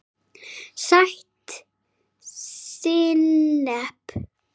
Sætt sinnep